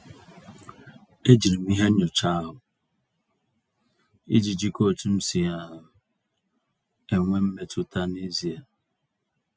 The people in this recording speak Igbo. E jiri m ihe nyocha ahụ, iji jikọọ otu m si um enwe mmetụta n'ezie.